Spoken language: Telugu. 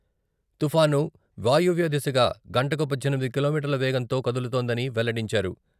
తుఫాను వాయవ్యదిశగా గంటకు పద్దెనిమిది కిలోమీటర్ల వేగంతో కదులుతోందని వెల్లడించారు.